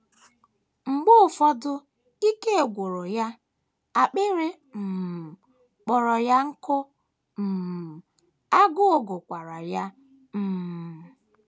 Mgbe ụfọdụ ike gwụrụ ya, akpịrị um kpọrọ ya nkụ, um agụụ gụkwara ya. um